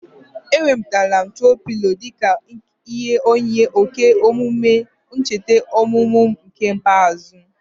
Enwetere m troo pịlo dịka ihe onyinye oge emume ncheta ọmụmụ m nke ikpeazụ